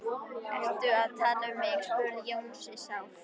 Ertu að tala um mig? spurði Jónsi sár.